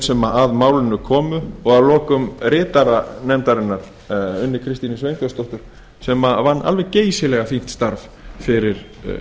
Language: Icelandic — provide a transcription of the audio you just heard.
sem að málinu komu og að lokum ritara nefndarinnar unni kristínu sveinbjörnsdóttur sem vann alveg geysilega fínt starf fyrir